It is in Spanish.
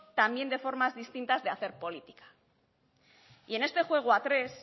también de formas distintas de hacer política y en este juego a tres